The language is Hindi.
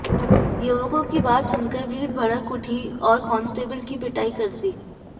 युवकों की बात सुनकर भीड़ भड़क उठी और कांस्टेबल की पिटाई कर दी